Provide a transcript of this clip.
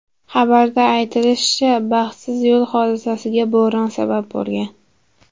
Xabarda aytilishicha, baxtsiz yo‘l hodisasiga bo‘ron sabab bo‘lgan.